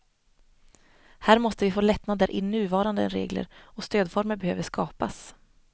Här måste vi få lättnader i nuvarande regler och stödformer behöver skapas.